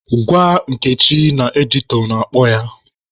Gwa Nkechi na editọ na-akpọ ya.